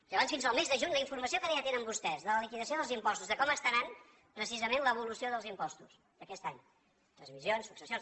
llavors fins al mes de juny la informació que ara ja tenen vostès de la liquidació dels impostos de com estarà precisament l’evolució dels impostos d’aquest any transmissions successions